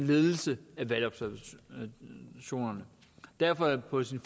ledelse af valgobservationerne derfor er det på sin